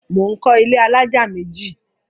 Mò ń kọ́ ilé alájà méjì.